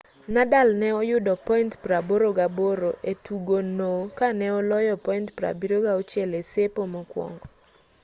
nadal ne oyudo point 88% e tugo no kane oloyo point 76 e sepo mokwongo